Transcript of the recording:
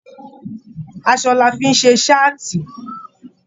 Aṣọ làá fí n ṣe saati.